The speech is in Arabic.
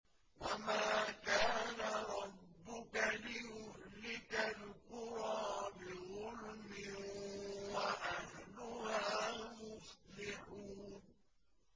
وَمَا كَانَ رَبُّكَ لِيُهْلِكَ الْقُرَىٰ بِظُلْمٍ وَأَهْلُهَا مُصْلِحُونَ